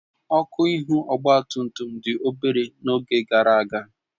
Ọkụ ihu ọgba tum tum dị obere n'oge gara aga